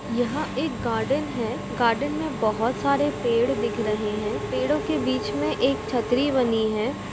यहाँ एक गार्डन है गार्डन में बहुत सारे पेड़ दिख रहे हैं पेड़ों के बीच में एक छतरी बनी है।